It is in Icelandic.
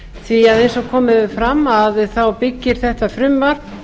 því eins og komið hefur fram að þá byggir þetta frumvarp